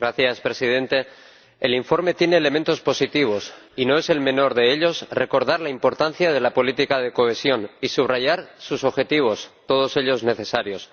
Señor Presidente, el informe tiene elementos positivos y no es el menor de ellos recordar la importancia de la política de cohesión y subrayar sus objetivos, todos ellos necesarios.